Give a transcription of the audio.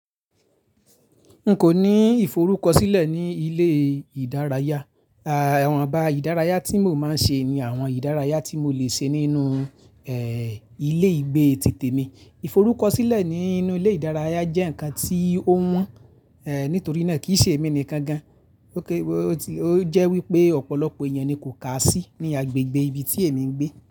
N kò ní ìforúkọsílẹ̀ ní ilé ìdárayá. Àwọn iba ìdárayá tí mò máa ń ṣe ní àwọn ìdárayá tí mo lè ṣe nínú eh ilé ìgbé títè mi. Iforúkọsílẹ̀ nínú ilé ìdárayá jẹ́ ǹkan tí ó wọ́n eh nítorí náà kì í ṣe èmi nìkan gan-an. Ó jẹ́ wípé ọ̀pọ̀lọpọ̀ ènìyàn ni kò kà sí ní agbègbè ibi tí èmi ń gbé.